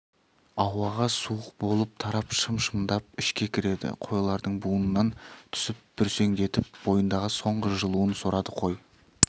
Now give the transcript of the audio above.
ауаға суық болып тарап шым-шымдап ішке кіреді қойлардың буынына түсіп бүрсеңдетіп бойындағы соңғы жылуын сорады қой